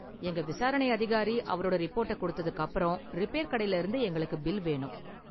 எங்க விசாரணை அதிகாரி அவரோட ரிப்போர்ட்ட கொடுத்ததுக்கு அப்பறம், ரிப்பேர் கடையில இருந்து எங்களுக்கு பில் வேணும்.